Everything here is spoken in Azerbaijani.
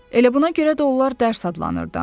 Elə buna görə də onlar dərs adlanırdı da.